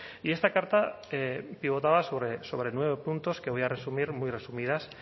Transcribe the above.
y esta carta pivotaba sobre nueve puntos que voy a resumir muy resumidas